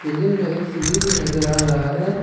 Building में एक सीढ़ी भी नजर आ रहा है।